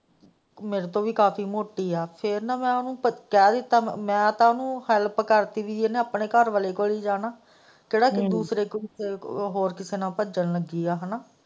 ਮੇਰੇ ਤੋਂ ਵੀ ਕਾਫ਼ੀ ਮੋਟੀ ਹੈ ਫ਼ੇਰ ਨਾ ਮੈਂ ਉਹਨੂੰ ਕਹਿ ਦਿੱਤਾ ਕਿ ਮੈਂ ਤਾਂ ਉਹਨੂੰ ਹੈਲਪ ਕਰ ਦਿੱਤੀ ਕਿ ਉਹਨੇ ਆਪਣੇ ਘਰਵਾਲੇ ਕੋਲ ਹੀ ਜਾਣਾ ਕਿਹੜਾ ਕਿਸੇ ਦੂਸਰੇ ਹੋਰ ਕਿਸੇ ਨਾਲ ਭੱਜਣ ਲੱਗੀ ਹੈ।